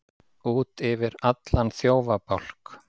Út yfir allan þjófabálk